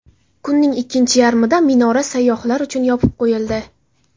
Kunning ikkinchi yarmida minora sayyohlar uchun yopib qo‘yildi.